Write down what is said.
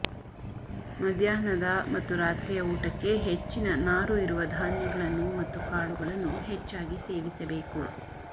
ಮಧ್ಯಾಹ್ನದ ಮತ್ತು ರಾತ್ರಿಯ ಊಟಕ್ಕೆ ಹೆಚ್ಚಿನ ನಾರು ಇರುವ ಧಾನ್ಯಗಳನ್ನು ಮತ್ತು ಕಾಳುಗಳನ್ನು ಹೆಚ್ಚಾಗಿ ಸೇವಿಸಬೇಕು